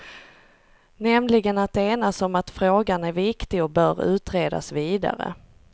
Nämligen att enas om att frågan är viktig och bör utredas vidare.